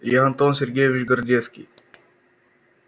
я антон сергеевич городецкий